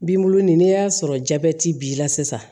Binbulu nin n'i y'a sɔrɔ jabɛti b'i la sisan